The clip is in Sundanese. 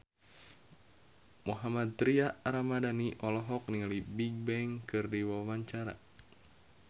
Mohammad Tria Ramadhani olohok ningali Bigbang keur diwawancara